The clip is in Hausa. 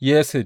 Hesed.